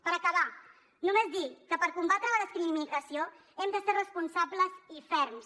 per acabar només dir que per combatre la discriminació hem de ser responsables i ferms